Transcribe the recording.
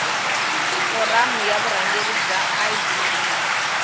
foramu ya vurhangeri bya idp